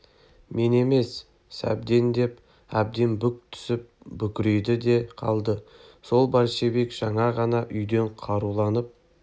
мен емес сәбден деп әбден бүк түсіп бүкірейді де қалды сол большевик жаңа ғана үйден қаруланып